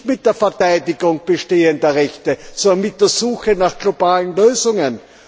Das geht nicht mit der Verteidigung bestehender Rechte, sondern mit der Suche nach globalen Lösungen.